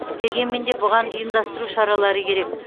дегенмен де бұған ұйымдастыру шаралары керек